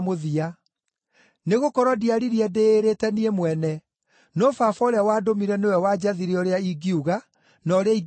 Nĩgũkorwo ndiaririe ndĩĩrĩte niĩ mwene, no Baba ũrĩa wandũmire nĩwe wanjathire ũrĩa ingiuga, na ũrĩa ingĩaria.